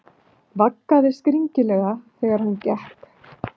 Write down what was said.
Vaggaði skringilega þegar hann gekk.